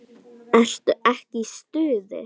Ertu ekki í stuði?